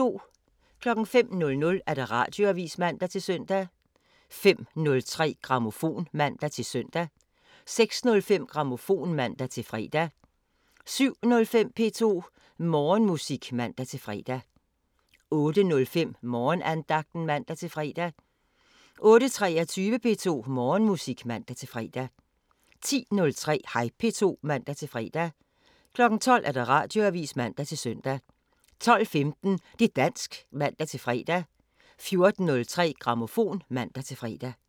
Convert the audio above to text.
05:00: Radioavisen (man-søn) 05:03: Grammofon (man-søn) 06:05: Grammofon (man-fre) 07:05: P2 Morgenmusik (man-fre) 08:05: Morgenandagten (man-fre) 08:23: P2 Morgenmusik (man-fre) 10:03: Hej P2 (man-fre) 12:00: Radioavisen (man-søn) 12:15: Det' dansk (man-fre) 14:03: Grammofon (man-fre)